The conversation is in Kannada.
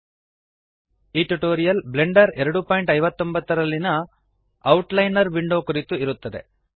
ಈ ಟ್ಯುಟೋರಿಯಲ್ ಬ್ಲೆಂಡರ್ 259 ನಲ್ಲಿಯ ಔಟ್ಲೈನರ್ ವಿಂಡೋ ಕುರಿತು ಇರುತ್ತದೆ